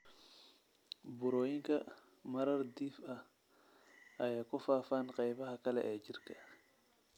Burooyinkan marar dhif ah ayay ku faafaan qaybaha kale ee jirka.